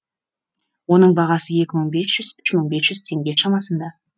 оның бағасы екі мың бес жүз үш мың бес жүз теңге шамасында